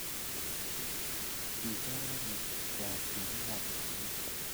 ki chor karik kwak ribiik ab kalyet